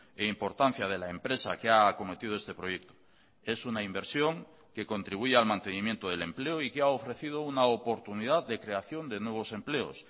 e importancia de la empresa que ha acometido este proyecto es una inversión que contribuye al mantenimiento del empleo y que ha ofrecido una oportunidad de creación de nuevos empleos